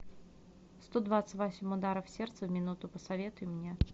сто двадцать восемь ударов сердца в минуту посоветуй мне